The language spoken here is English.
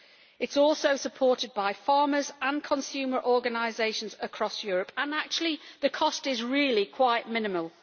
It is also supported by farmers and consumer organisations across Europe and actually the cost is really quite minimal.